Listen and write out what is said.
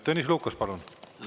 Tõnis Lukas, palun!